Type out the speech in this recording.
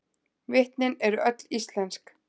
Vitnin eru öll íslensk